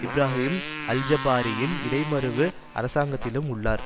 இப்ராஹிம் அல்ஜபாரியின் இடைமருவு அரசாங்கத்திலும் உள்ளார்